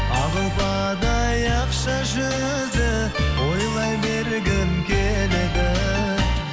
ақ ұлпадай ақша жүзді ойлай бергім келеді